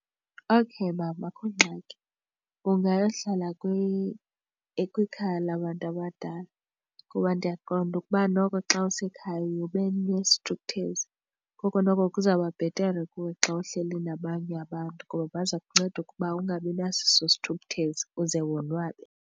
Okay, mama, akukho ngxaki ungayohlala kwikhaya labantu abadala kuba ndiyaqonda ukuba noko xa usekhaya uye ube nesithukuthezi, koko noko kuzawuba bhetere kuwe xa uhleli nabanye abantu ngoba baza kunceda ukuba ungabi naso eso sithukuthezi uze wonwabe.